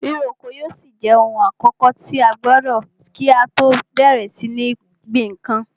Ríro oko yóò ṣì jẹ ohun àkọ́kọ̀ tí a gbọdọ̀ kí á tọ́ bẹ̀rẹ̀ sí ní gbin nǹkan.